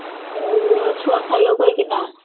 ଛୁଆ ଖାଇବ କହିକି ନା